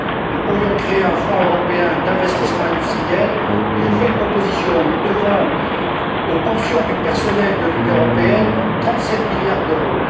Nous pourrions créer un fonds européen d'investissement industriel et je vous fais une proposition nous devons aux pensions du personnel de l'Union européenne trente sept milliards d'euros